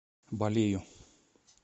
балею